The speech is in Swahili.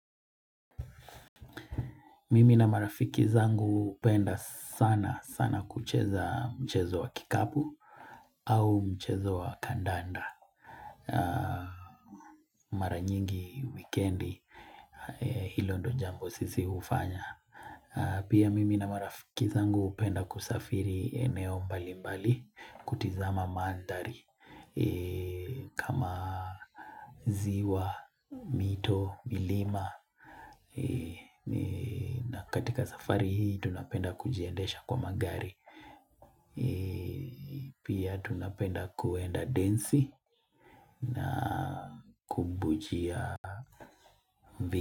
Mimi na marafiki zangu hupenda sana sana kucheza mchezo wa kikapu au mchezo wa kandanda mara nyingi wikendi hilo ndo jambo sisi hufanya pia mimi na marafiki zangu hupenda kusafiri maeneo mbali mbali kutizama mandhari kama ziwa, mito, milima katika safari hii tunapenda kujiendesha kwa magari, pia tunapenda kuenda densi na kubujia.